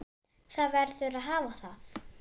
Það verður að hafa það.